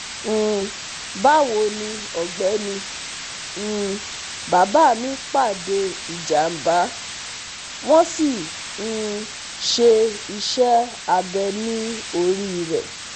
um bawoni ọ̀gbẹ́ni, um bàbá mi pàdé ìjàmbá, wọ́n sì um ṣe iṣẹ́ abẹ̀ ní orí rẹ̀